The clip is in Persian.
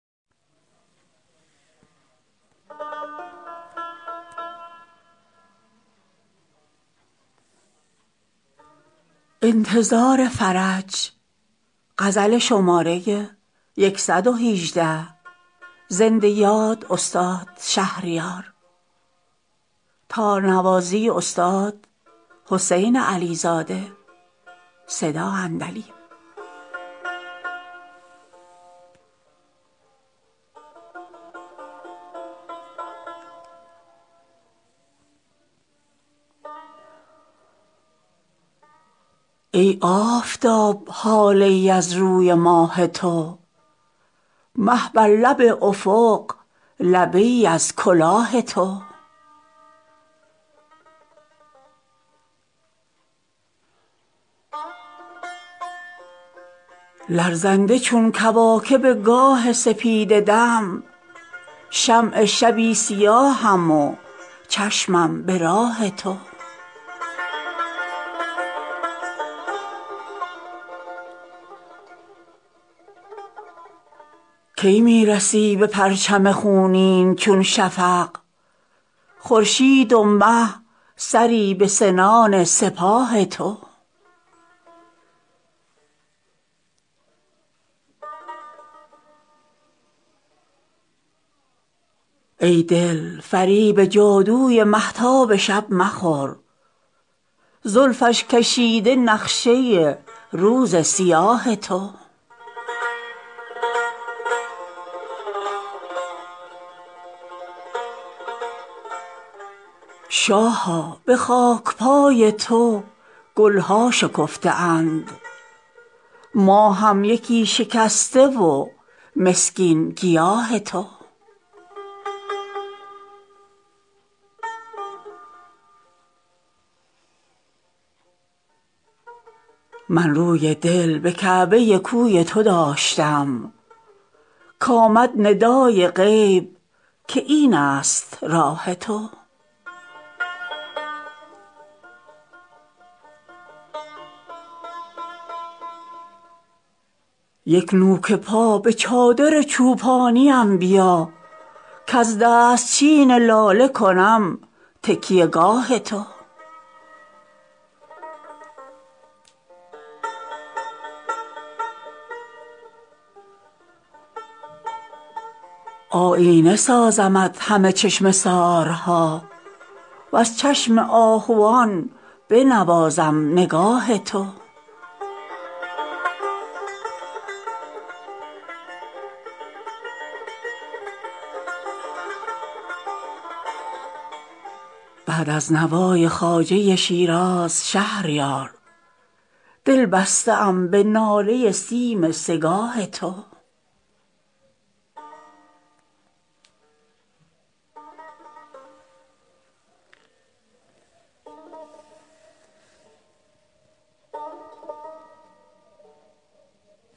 ای آفتاب هاله ای از روی ماه تو مه بر لب افق لبه ای از کلاه تو لرزنده چون کواکب گاه سپیده دم شمع شبی سیاهم و چشمم به راه تو کی می رسی به پرچم خونین چون شفق خورشید و مه سری به سنان سپاه تو ای دل فریب جادوی مهتاب شب مخور زلفش کشیده نقشه روز سیاه تو آنکو لهیب آتش از رو نمی برد اندیشه ای کند مگر از دود آه تو گر اشک توبه ات به دوات ملک نریخت بگذار پای من بنویسد گناه تو شاها به خاک پای تو گل ها شکفته اند ما هم یکی شکسته و مسکین گیاه تو من روی دل به کعبه کوی تو داشتم کآمد ندای غیب که این است راه تو یک نوک پا به چادر چوپانیم بیا کز دستچین لاله کنم تکیه گاه تو آیینه سازمت همه چشمه سارها وز چشم آهوان بنوازم نگاه تو بعد از نوای خواجه شیراز شهریار دل بسته ام به ناله سیم سه گاه تو